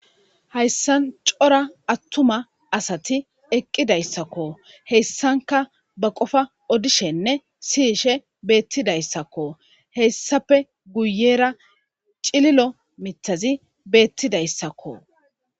hayssan cora attuma asati eqqidayssakko heyssanka ba qofa odishenne siyishe beettidayssakko hessape guyera cililo mitazi beettidayssakko